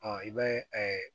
i bɛ